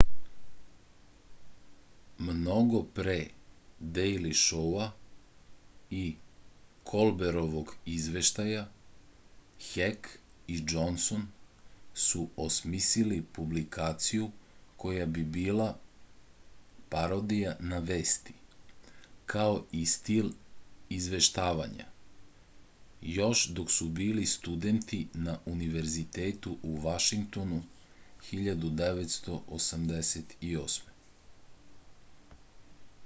mnogo pre dejli šou-a i kolberovog izveštaja hek i džonson su osmisli publikaciju koja bi bila parodija na vesti kao i stil izveštavanja još dok su bili studenti na univerzitetu u vašingtonu 1988